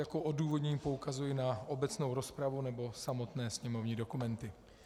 Jako odůvodnění poukazuji na obecnou rozpravu nebo samotné sněmovní dokumenty.